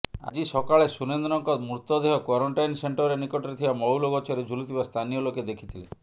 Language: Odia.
ଆଜି ସକାଳେ ସୁରେନ୍ଦ୍ରଙ୍କ ମୃତଦେହ କ୍ୱାରେଣ୍ଟିନ୍ ସେଣ୍ଟର ନିକଟରେ ଥିବା ମହୁଲ ଗଛରେ ଝୁଲୁଥିବା ସ୍ଥାନୀୟ ଲୋକେ ଦେଖିଥିଲେ